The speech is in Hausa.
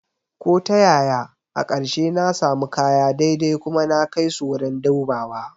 Ko ta yaya, a ƙarshe na sami kaya daidai kuma na kai su wurin dubawa